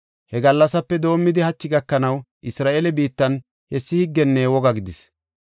He gallasape doomidi hachi gakanaw Isra7eele biittan hessi higgenne woga gidis.